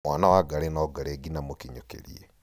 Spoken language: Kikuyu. mwana wa ngarĩ no ngarĩ nginya mũkinyũkĩrie